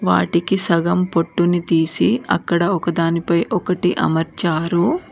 వాటికి సగం పొట్టుని తీసి అక్కడ ఒకదానిపై ఒకటి అమర్చారు.